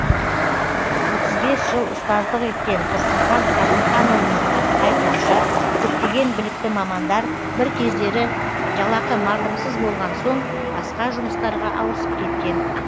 отыз бес жыл ұстаздық еткен тұрсынхан қасымханұлының айтуынша көптеген білікті мамандар бір кездері жалақы мардымсыз болған соң басқа жұмыстарға ауысып кеткен